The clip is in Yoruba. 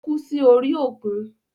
Ó kú sí orí òkun.